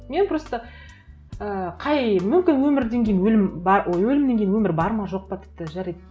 мен просто і қай мүмкін өмірден кейін өлім ой өлімнен кейін бар ма жоқ па тіпті жарайды